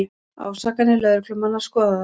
Ásakanir lögreglumanna skoðaðar